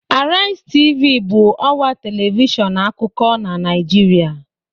Arise Tv bụ ọwa telivishọn akụkọ na Naịjirịa